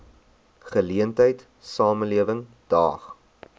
geleentheid samelewing daag